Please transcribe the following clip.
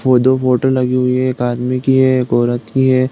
दो-दो फोटो लगी हुई हैं। एक आदमी की है। एक औरत की है।